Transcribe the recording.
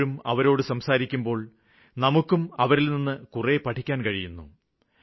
പലപ്പോഴും അവരോട് സംസാരിക്കുമ്പോള് നമുക്കും അവരില്നിന്ന് കുറെ പഠിക്കാന് കഴിയുന്നു